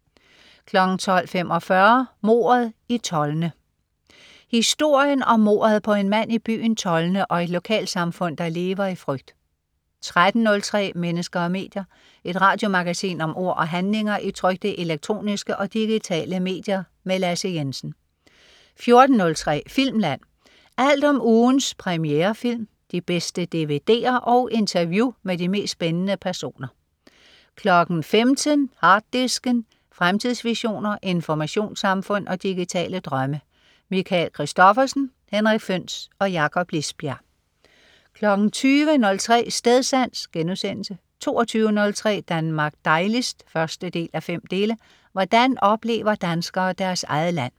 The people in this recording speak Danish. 12.45 Mordet i Tolne. Historien om mordet på en mand i byen Tolne og et lokalsamfund der lever i frygt 13.03 Mennesker og medier. Et radiomagasin om ord og handlinger i trykte, elektroniske og digitale medier. Lasse Jensen 14.03 Filmland. Alt om ugens premierefilm, de bedste dvd'er og interview med de mest spændende personer 15.00 Harddisken. Fremtidsvisioner, informationssamfund og digitale drømme. Michael Christophersen, Henrik Føhns og Jakob Lisbjerg 20.03 Stedsans* 22.03 Danmark dejligst 1:5. Hvordan oplever danskere deres eget land?